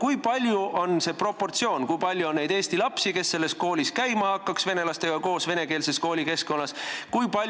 Missugune on see proportsioon: kui palju on neid eesti lapsi, kes selles koolis hakkaks venelastega koos venekeelses koolikeskkonnas õppima?